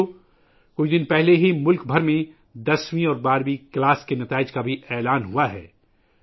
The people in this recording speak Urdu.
ساتھیو ، ابھی کچھ دن پہلے ہی ملک بھر میں دسویں اور بارہویں جماعت کے نتائج کا اعلان کیا گیا ہے